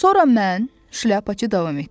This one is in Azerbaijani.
Sonra mən, şlyapaçı davam etdi.